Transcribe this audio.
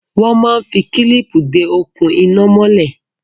Wọ́n máa ń fi kílíìpì de okùn iná mọ́lè.